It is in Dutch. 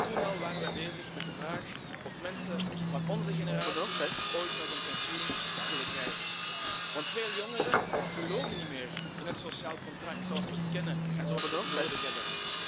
Toen al waren we bezig met de vraag of mensen van onze generatie ooit nog een pensioen zullen krijgen. Veel jongeren geloven namelijk niet meer in het sociaal contract zoals we het kennen en zoals we het nodig hebben.